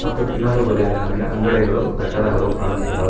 ಮತ್ತು ಇನ್ನೊಂದು ಬದಿಯಲ್ಲಿ ನನಗೆ ಅಂಗಡಿಗಳು ಕಟ್ಟಡಗಳು ಕಾಣಿಸ್ತಿದ್ದಾವೆ.